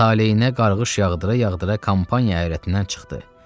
Taleyinə qarğış yağdıra-yağdıra kampaniya ərazisindən çıxdı.